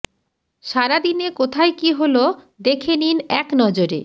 সারা দিনে কোথায় কী হল দেখে নিন এক নজরে